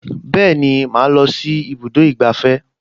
Bẹ́ẹ̀ni, màá lọ sí ibùdó ìgbafẹ́